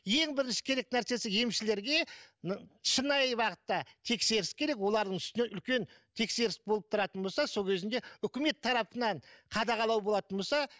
ең бірінші керек нәрсесі емшілерге шынайы бағытта тексеріс керек олардың үстінен үлкен тексеріс болып тұратын болса сол кезінде үкімет тарапынан қадағалау болатын болса